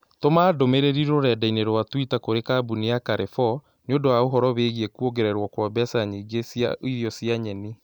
Tũma ndũmĩrĩri rũrenda-inī rũa tũita kũrĩ kambuni ya carrefour nĩũndũ wa ũhoro wīgīī kũongererwo kwa mbeca nyingĩ cia irio cia nyeni